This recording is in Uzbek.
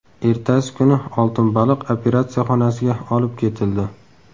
Ertasi kuni oltin baliq operatsiya xonasiga olib ketildi.